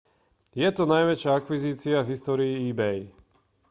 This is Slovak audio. je to najväčšia akvizícia v histórii ebay